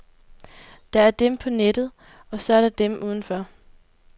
Der er dem på nettet, og så er der dem udenfor.